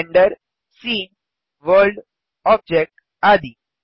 render scene world object आदि